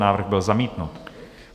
Návrh byl zamítnut.